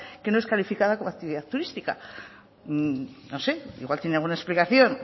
que no es calificada como actividad turística no sé igual tiene alguna explicación